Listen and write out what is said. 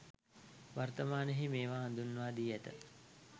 වර්තමානයෙහි මේවා හඳුන්වා දී ඇත.